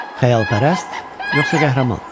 Xəyalpərəst yoxsa qəhrəman?